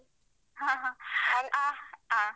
ಹ ಹಾ. ಹಾ ಹಾ